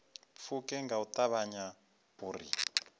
pfuke nga u ṱavhanya uri